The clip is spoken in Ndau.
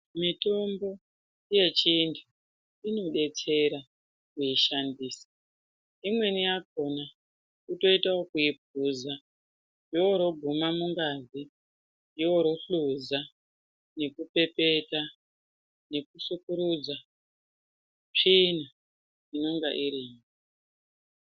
Mitombo yechintu inobetsera kuishandisa. Imweni yakhona kutoita ekuipuza yoroguma mungazi yorohluza nekupepeta nekusukurudza tsvina inenge irimwo